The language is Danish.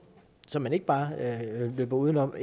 som man ikke bare løber udenom